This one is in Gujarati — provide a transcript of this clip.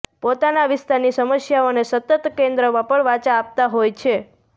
પોતાના વિસ્તારની સમસ્યાઓને સતત કેન્દ્રમાં પણ વાચા આપતા હોય છે